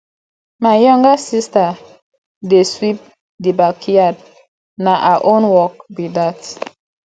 my younger sista dey sweep di backyard na her own work be dat